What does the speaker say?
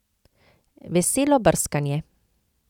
Veselo brskanje!